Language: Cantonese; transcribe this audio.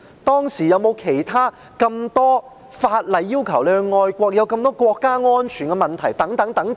當時有沒有其他法例要求市民愛國，有沒有這麼多國家安全等問題？